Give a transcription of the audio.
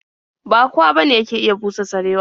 Ba kowa bane yake iya busa sarewa.